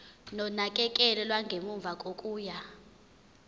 nonakekelo lwangemuva kokuya